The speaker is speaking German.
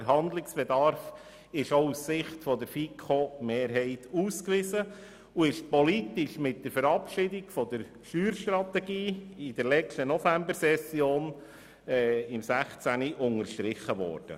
Der Handlungsbedarf ist aus Sicht der FiKo-Mehrheit ausgewiesen und er ist politisch mit der Verabschiedung der Steuerstrategie in der letzten Novembersession im Jahr 2016 unterstrichen worden.